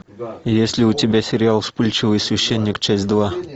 есть ли у тебя сериал вспыльчивый священник часть два